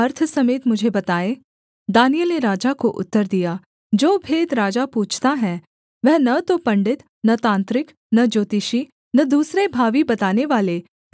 दानिय्येल ने राजा को उत्तर दिया जो भेद राजा पूछता है वह न तो पंडित न तांत्रिक न ज्योतिषी न दूसरे भावी बतानेवाले राजा को बता सकते हैं